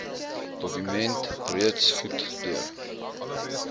dokument reeds goedgekeur